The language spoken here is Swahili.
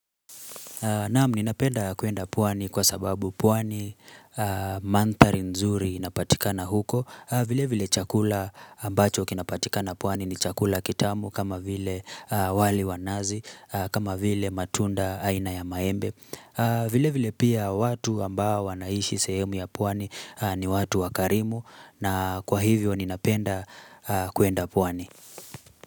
Naam ninapenda kwenda pwani kwa sababu pwani mandhari nzuri inapatika na huko vile vile chakula ambacho kinapatika na pwani ni chakula kitamu kama vile wali wa nazi kama vile matunda aina ya maembe vile vile pia watu ambao wanaishi sehemu ya pwani ni watu wakarimu na kwa hivyo ninapenda kuenda pwani.